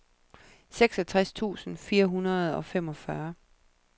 seksogtres tusind fire hundrede og femogfyrre